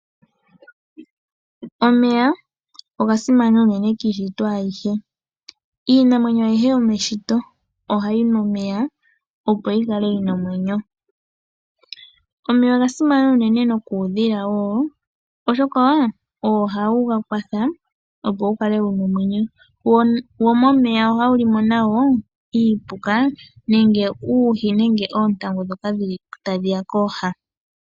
Omeya oga simana uunene kiishitwa ayihe. Iinamwenyo ayihe yomeshito ohayi nu omeya, opo yi kale yina omwenyo. Omeya oga simana uunene nokuudhila wo, oshoka ogo ga kwatha, opo wu kale wuna omwenyo, wo momeya ohawu limo nawo iipuka, uuhi nenge oontangu dhoka dhili tadhiya kooha.